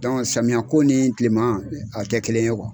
samiya ko nii tilema a tɛ kelen ye .